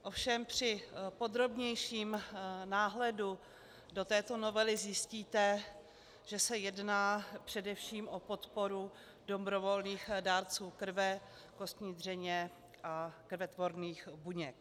Ovšem při podrobnějším náhledu do této novely zjistíte, že se jedná především o podporu dobrovolných dárců krve, kostní dřeně a krvetvorných buněk.